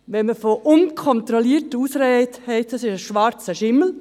Wenn man von unkontrollierter Ausreise spricht, ist dies ein schwarzer Schimmel.